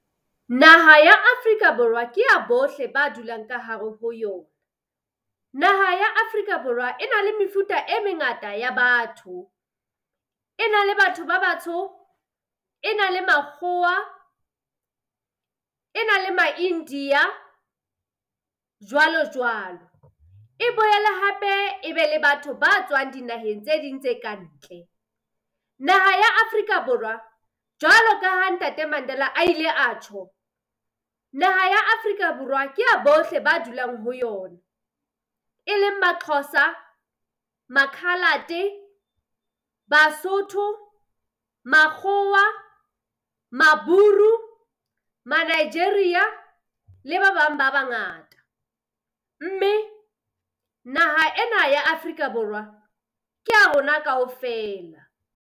Naha ya Afrika Borwa ke ya bohle ba dulang ka hare ho yona. Naha ya Afrika Borwa e na le mefuta e mengata ya batho. E na le batho ba batsho, e na le makgowa e na le ma-India, jwalo jwalo. E boele hape ebe le batho ba tswang dinaheng tse ding tse ka ntle. Naha ya Afrika Borwa jwalo ka ha Ntate Mandela a ile atjho, naha ya Afrika Borwa kea bohle ba dulang ho yona. E leng ba-Xhoza, ma-coloured-e Basotho, Makgowa, Maburu, ma-Nigeria le ba bang ba bangata. Mme naha ena ya Afrika Borwa kea rona kaofela.